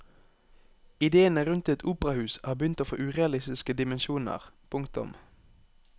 Idéene rundt et operahus har begynt å få urealistiske dimensjoner. punktum